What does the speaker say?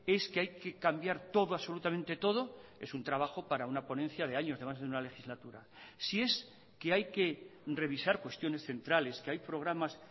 es que hay que cambiar todo absolutamente todo es un trabajo para una ponencia de años de más de una legislatura si es que hay que revisar cuestiones centrales que hay programas